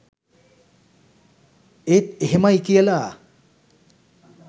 ඒත් එහෙමයි කියලා